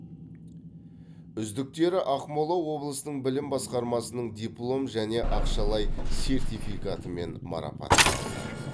үздіктері ақмола облысының білім басқармасының диплом және ақшалай сертификатымен марапатталды